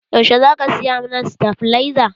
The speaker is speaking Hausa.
Yaushe za ka saya mana stabilaza?